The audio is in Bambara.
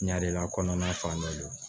Ɲɛ de la kɔnɔna fan bɛɛ